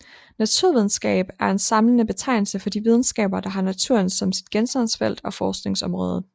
Naturvidenskab er en samlende betegnelse for de videnskaber der har naturen som sit genstandsfelt og forskningsområde